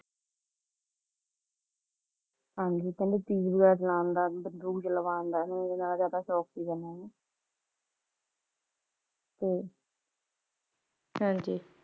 ਹਾਂਜੀ, ਕਹਿੰਦੇ ਕਿ ਤੀਰ ਕਮਾਨ ਚਲਾਣ ਤੇ ਬੰਦੂਕ ਚਲਾਣ ਦਾ ਇਨਾਂ ਨੂੰ ਜ਼ਯਾਦਾ ਸ਼ੌਂਕ ਸੀ, ਕਹਿੰਦੇ ਹਾਂਜੀ